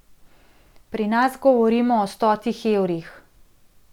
Pri nas govorimo o stotih evrih.